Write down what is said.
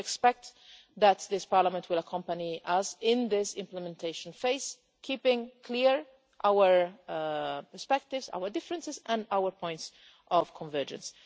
I would expect that this Parliament will accompany us in this implementation phase, keeping clear our perspectives, our differences and our points of convergence.